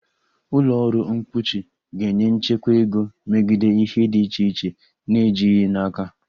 Ụlọ ọrụ mkpuchi ga-enye nchekwa ego megide ihe dị iche iche na-ejighị n'aka